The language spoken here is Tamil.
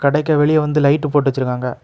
டைக்கு வெளியே வந்து லைட் போட்டு வெச்சிருக்காங்க.